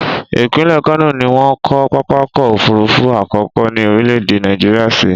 Ìpínlẹ̀ Kano ni wọ́n kọ́ pápákọ̀ òfurufú àkọ́kọ́ ní orílẹ̀-èdè Nàìjíríà sí.